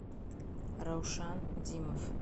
раушан димов